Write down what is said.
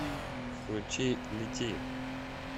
включи лети